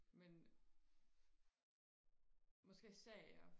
men måske serier